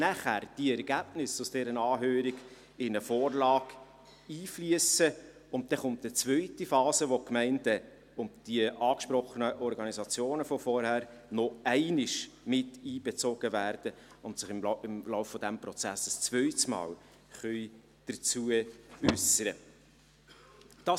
Anschliessend fliessen die Ergebnisse dieser Anhörung in eine Vorlage ein, und dann kommt eine zweite Phase, wo die Gemeinden und die erwähnten Organisationen noch einmal einbezogen werden und sich im Laufe des Prozesses ein zweites Mal äussern können.